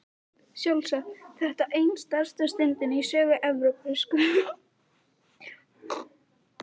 Sjálfsagt var þetta ein stærsta stundin í sögu Evrópsku söngvakeppninnar.